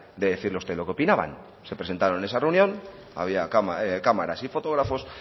de decirle a usted lo que opinaban se presentaron en esa reunión había cámaras y fotógrafos